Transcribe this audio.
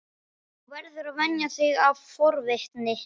Þú verður að venja þig af forvitni.